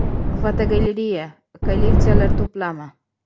Fotogalereya: Kolleksiyalar to‘plami.